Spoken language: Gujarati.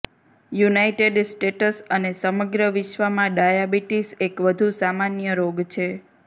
યુનાઈટેડ સ્ટેટ્સ અને સમગ્ર વિશ્વમાં ડાયાબિટીસ એક વધુ સામાન્ય રોગ છે